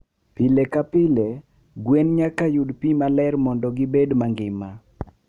Pile ka pile, gwen nyaka yud pi maler mondo gibed mangima.